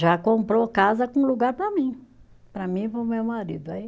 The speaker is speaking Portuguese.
Já comprou casa com lugar para mim, para mim e para o meu marido, aí